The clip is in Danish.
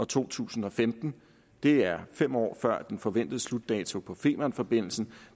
to tusind og femten det er fem år før den forventede slutdato på femernforbindelsen